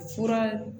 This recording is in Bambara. Fura